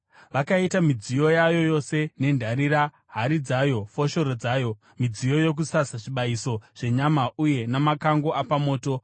Vakaita midziyo yayo yose nendarira, hari dzayo, foshoro dzayo, midziyo yokusasa zvibayiso zvenyama uye namakango apamoto.